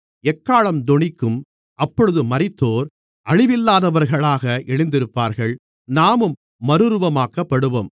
எக்காளம் தொனிக்கும் அப்பொழுது மரித்தோர் அழிவில்லாதவர்களாக எழுந்திருப்பார்கள் நாமும் மறுரூபமாக்கப்படுவோம்